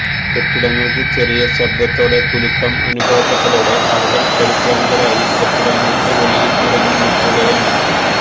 കെട്ടിടങ്ങള്ക്ക് ചെറിയ ശബ്ദത്തോടെ കുലുക്കം അനുഭവപ്പെട്ടതോടെ ആളുകള് പരിഭ്രാന്തരായി കെട്ടിടങ്ങള്ക്ക് വെളിയില് ഇറങ്ങി നില്ക്കുകയാണ്